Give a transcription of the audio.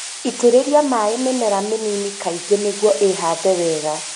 Itĩrĩria maĩ mĩmera mĩnini kaingĩ nĩguo ĩhande wega